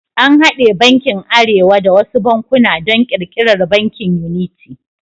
An haɗe bankin arewa da wasu bankuna don ƙirƙirar Bankin yuniti.